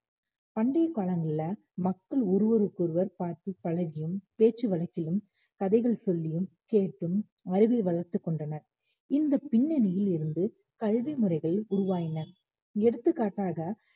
பண்டைய காலங்கள்ல மக்கள் ஒருவருக்கொருவர் பார்த்து பழகியும் பேச்சு வழக்கிலும் கதைகள் சொல்லியும் கேட்டும் அறிவை வளர்த்துக் கொண்டனர் இந்த பின்னணியில் இருந்து கல்வி முறைகள் உருவாகின எடுத்துக்காட்டாக